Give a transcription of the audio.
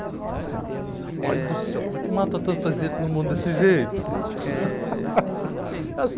Rapaz do céu, como é que mata tanto a gente no mundo desse jeito?